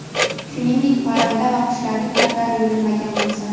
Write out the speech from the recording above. shuningdek parranda va qushlarning patlari yulinmagan bo‘lsa;.